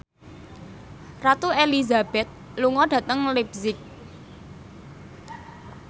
Ratu Elizabeth lunga dhateng leipzig